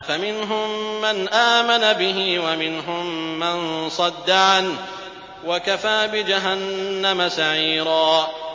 فَمِنْهُم مَّنْ آمَنَ بِهِ وَمِنْهُم مَّن صَدَّ عَنْهُ ۚ وَكَفَىٰ بِجَهَنَّمَ سَعِيرًا